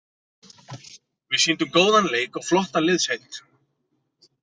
Við sýndum góðan leik og flotta liðsheild.